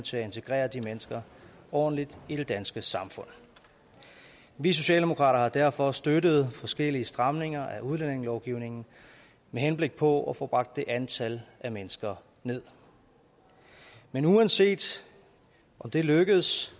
til at integrere de mennesker ordentligt i det danske samfund vi socialdemokrater har derfor støttet forskellige stramninger af udlændingelovgivningen med henblik på at få bragt det antal af mennesker nederst men uanset om det lykkes